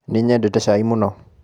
Nĩnyendete cai mũno.